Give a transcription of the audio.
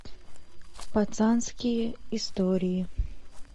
пацанские истории